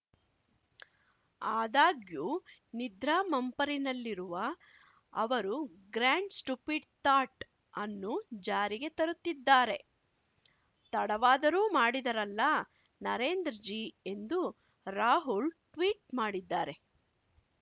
ಆದಾಗ್ಯೂ ನಿದ್ರಾ ಮಂಪರಿನಲ್ಲಿರುವ ಅವರು ಗ್ರಾಂಡ್‌ ಸ್ಟುಪಿಡ್‌ ಥಾಟ್‌ ಅನ್ನು ಜಾರಿಗೆ ತರುತ್ತಿದ್ದಾರೆ ತಡವಾದರೂ ಮಾಡಿದರಲ್ಲ ನರೇಂದ್ರ ಜೀ ಎಂದು ರಾಹುಲ್‌ ಟ್ವೀಟ್‌ ಮಾಡಿದ್ದಾರೆ